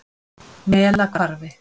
Melahvarfi